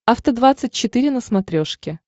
афта двадцать четыре на смотрешке